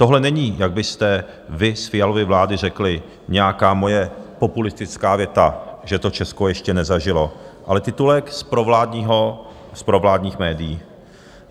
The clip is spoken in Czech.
Tohle není, jak byste vy z Fialovy vlády řekli, nějaká moje populistická věta, že to Česko ještě nezažilo, ale titulek z provládních médií.